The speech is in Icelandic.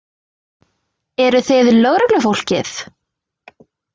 Eruð þið lögreglufólkið?